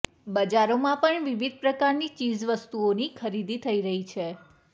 બજારોમાં પણ વિવિધ પ્રકારની ચીજ વસ્તુઓની ખરીદી થઈ રહી છે